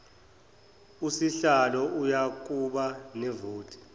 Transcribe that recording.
usihlalo uyakuba nevoti